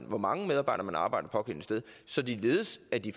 hvor mange medarbejdere der arbejder det pågældende sted således at de